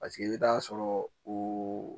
Paseke i bɛ taa sɔrɔ o